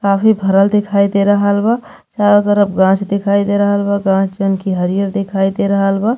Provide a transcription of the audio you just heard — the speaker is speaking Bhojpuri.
काफी भरल दिखाई दे रहल बा। चारो तरफ गांछ दिखाई दे रहल बा। गांछ जन की हरिअर दिखाई दे रहल बा।